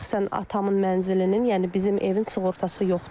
Şəxsən atamın mənzilinin, yəni bizim evin sığortası yoxdur.